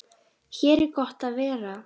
Hér er gott að vera.